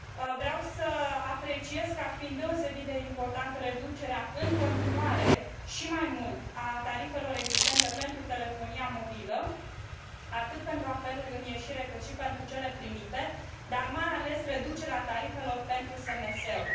Vreau să apreciez ca fiind deosebit de importantă reducerea în continuare și mai mult a tarifelor existente pentru telefonia mobilă, atât pentru apeluri în ieșire, cât și pentru cele primite, dar mai ales reducerea tarifelor pentru SMS uri.